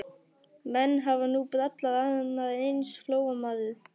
Menn hafa nú brallað annað eins, sagði Flóamaður.